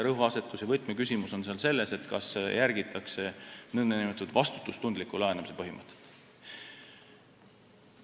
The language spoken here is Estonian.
Rõhuasetus ja võtmeküsimus on siin selles, kas järgitakse nn vastutustundliku laenamise põhimõtet.